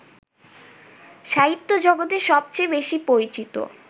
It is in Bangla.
সাহিত্যজগতে সবচেয়ে বেশী পরিচিত